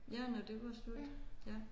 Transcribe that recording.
Ja når det var slut ja